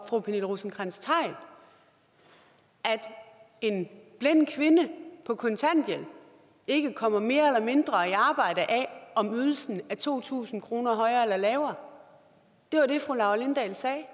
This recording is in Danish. fru pernille rosenkrantz theil at en blind kvinde på kontanthjælp ikke kommer mere eller mindre i arbejde af om ydelsen er to tusind kroner højere eller lavere det var jo det fru laura lindahl sagde